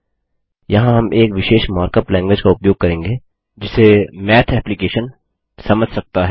यहाँ हम एक विशेष मार्कअप लैंग्विज का उपयोग करेंगे जिसे माथ एप्लिकैशन समझता है